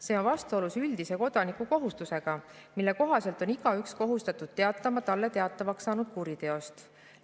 See on vastuolus üldise kodanikukohustusega, mille kohaselt on igaüks kohustatud teatama talle teatavaks saanud kuriteost.